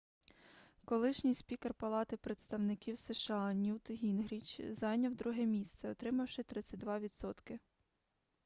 колишній спікер палати представників сша ньют гінгріч зайняв друге місце отримавши 32 відсотки